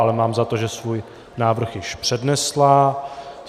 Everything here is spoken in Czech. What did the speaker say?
Ale mám za to, že svůj návrh již přednesla.